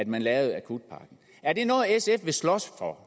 man lavede akutpakken er det noget sf vil slås for